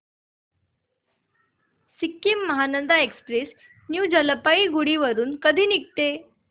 Sikkim Mahananda express new Jalpaiguri वरून कधी निघते